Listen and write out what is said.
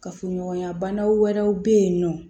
Kafoɲɔgɔnya bana wɛrɛw bɛ yen nɔ